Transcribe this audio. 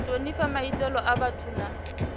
thonifha maitele a vhathu na